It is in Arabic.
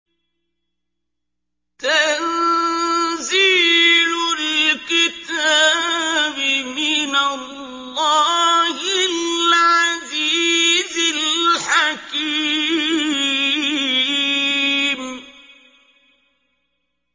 تَنزِيلُ الْكِتَابِ مِنَ اللَّهِ الْعَزِيزِ الْحَكِيمِ